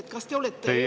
Teie aeg!